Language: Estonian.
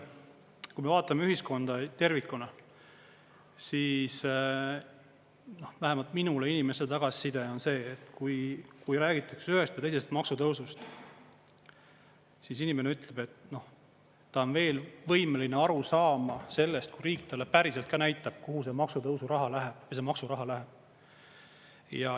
Kui me vaatame ühiskonda tervikuna, siis vähemalt minule inimeste tagasiside on see, et kui räägitakse ühest või teisest maksutõusust, siis inimene ütleb, et ta on veel võimeline aru saama sellest, kui riik talle päriselt näitab, kuhu see maksutõusu raha läheb, see maksuraha läheb.